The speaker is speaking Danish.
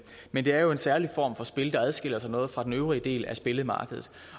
men det er jo en særlig form for spil der adskiller sig noget fra den øvrige del af spillemarkedet